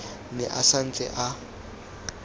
ne a sa ntse a